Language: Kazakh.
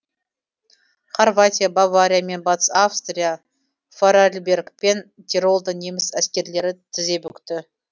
хорватия бавария мен батыс австрия форарльберг пен тиролда неміс әскерлері тізе бүкті